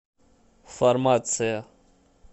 фармация